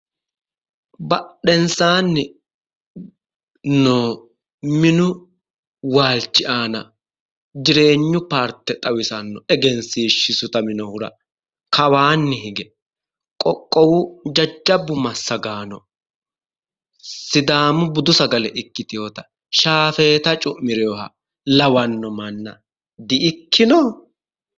Badhensaanni noo minu waalchi aana jireenyu paarte xawisanno eginsiishshi sutaminohura kawaanni hige qoqqowu jajjabbu massagaano sidaamu budu sagale ikkiteyote shaafeeta cu'mireyoha lawanno manna di"ikkino?